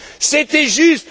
c'était juste.